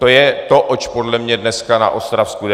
To je to, oč podle mě dneska na Ostravsku jde.